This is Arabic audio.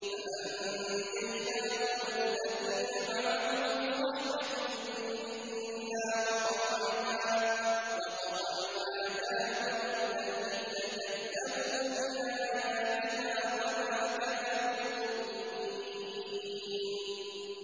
فَأَنجَيْنَاهُ وَالَّذِينَ مَعَهُ بِرَحْمَةٍ مِّنَّا وَقَطَعْنَا دَابِرَ الَّذِينَ كَذَّبُوا بِآيَاتِنَا ۖ وَمَا كَانُوا مُؤْمِنِينَ